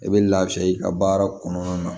I bɛ lafiya i ka baara kɔnɔna na